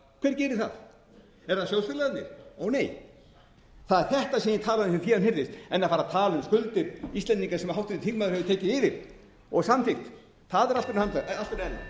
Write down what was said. gerir það eru það sjóðfélagarnir ónei það er þetta sem ég talaði um sem fé án hirðis en að fara um skuldir íslendinga sem háttvirtur þingmaður hefur tekið yfir og samþykkt það er allt önnur ella